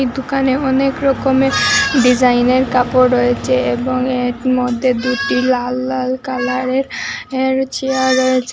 দুকানে অনেকরকমে ডিজাইনের কাপড় রয়েছে এবং এর মধ্যে দুটি লাল লাল কালারের চেয়ার রয়েছে।